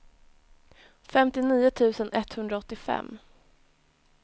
femtionio tusen etthundraåttiofem